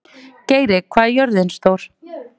Geiri, hvað er jörðin stór?